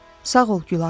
Sağ ol Gülarə.